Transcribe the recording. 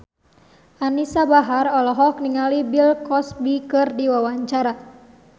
Anisa Bahar olohok ningali Bill Cosby keur diwawancara